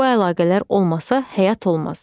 Bu əlaqələr olmasa həyat olmaz.